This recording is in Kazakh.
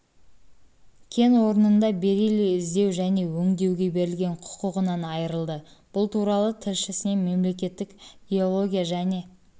кен орнында бериллий іздеу және өңдеуге берілген құқығынан айырылды бұл туралы тілішісіне мемлекеттік геология және